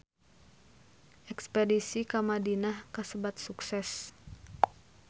Espedisi ka Madinah kasebat sukses